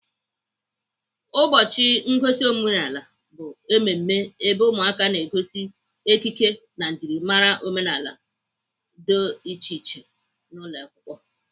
Ụbọchị ngosi omenala bụ emume ebe ụmụaka na-egosi ekike na njimara omenala do iche iche n'ụlọakwụkwọ.